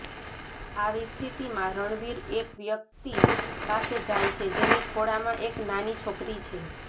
આવી સ્થિતિમાં રણવીર એક વ્યક્તિ પાસે જાય છે જેની ખોળામાં એક નાની છોકરી છે